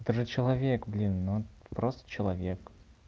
это же человек блин ну просто человек